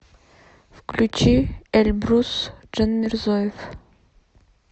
включи эльбрус джанмирзоев